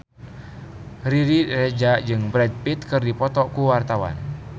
Riri Reza jeung Brad Pitt keur dipoto ku wartawan